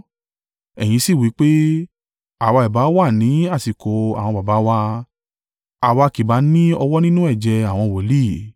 Ẹ̀yin sì wí pé, ‘Àwa ìbá wà ní àsìkò àwọn baba wa, àwa kì bá ní ọwọ́ nínú ẹ̀jẹ̀ àwọn wòlíì’.